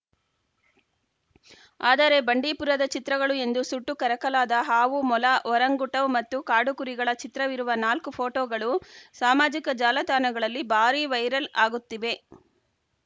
ಆದರೆ ಬಂಡೀಪುರದ ಚಿತ್ರಗಳು ಎಂದು ಸುಟ್ಟು ಕರಕಲಾದ ಹಾವು ಮೊಲ ಒರಂಗುಟವ್‌ ಮತ್ತು ಕಾಡು ಕುರಿಗಳ ಚಿತ್ರವಿರುವ ನಾಲ್ಕು ಫೋಟೋಗಳು ಸಾಮಾಜಿಕ ಜಾಲತಾಣಗಳಲ್ಲಿ ಬಾರೀ ವೈರಲ್‌ ಆಗುತ್ತಿವೆ